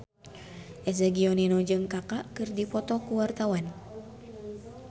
Eza Gionino jeung Kaka keur dipoto ku wartawan